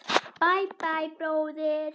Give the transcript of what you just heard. Bæ, bæ, bróðir.